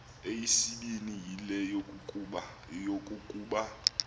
eyesibini yile yokokuba